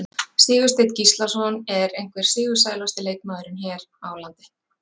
Sigursteinn Gíslason er einhver sigursælasti leikmaðurinn hér á landi.